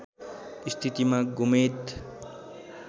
स्थितिमा गोमेद